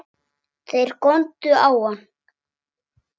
Þeir góndu á hann.